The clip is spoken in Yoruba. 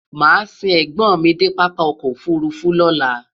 màá sìn ègbón mí dé pápá ọkọ̀ òfurufú lọ́la